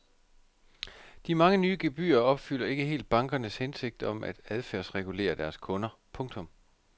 De mange nye gebyrer opfylder ikke helt bankernes hensigt om at adfærdsregulere deres kunder. punktum